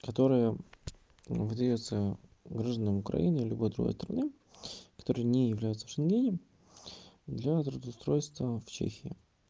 которая выдаётся гражданам украины либо другой страны которые не являются в шенгене для трудоустройства в чехии